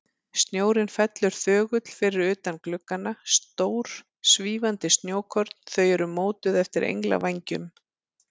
Snjórinn fellur þögull fyrir utan gluggana, stór, svífandi snjókorn, þau eru mótuð eftir englavængjum.